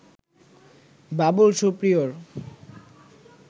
Babul Superior